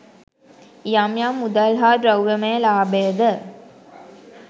යම් යම් මුදල් හා ද්‍රව්‍යමය ලාභයද